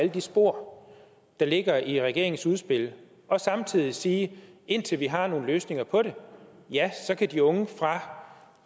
de spor der ligger i regeringens udspil og samtidig sige at indtil vi har nogle løsninger på det kan de unge fra